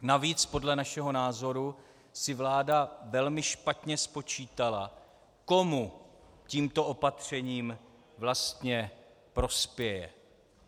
Navíc podle našeho názoru si vláda velmi špatně spočítala, komu tímto opatřením vlastně prospěje.